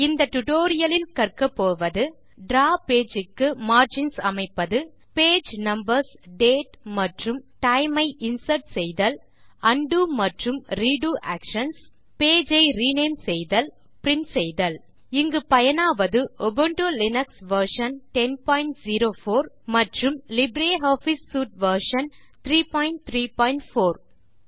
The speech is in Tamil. இந்த டியூட்டோரியல் லில் கற்கப்போவது டிராவ் பேஜ் க்கு மார்ஜின்ஸ் அமைப்பது பேஜ் நம்பர்ஸ் டேட் மற்றும் டைம் ஐ இன்சர்ட் செய்தல் உண்டோ மற்றும் ரெடோ ஆக்ஷன்ஸ் பேஜ் ஐ ரினேம் செய்தல் பிரின்ட் செய்தல் இங்கு பயனாவது உபுண்டு லினக்ஸ் வெர்ஷன் 1004 மற்றும் லிப்ரியாஃபிஸ் சூட் வெர்ஷன் 334